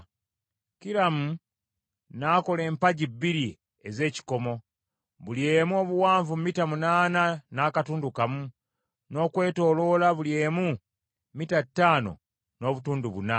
Kiramu n’akola empagi bbiri ez’ekikomo, buli emu obuwanvu mita munaana n’akatundu kamu, n’okwetooloola buli emu mita ttaano n’obutundu buna.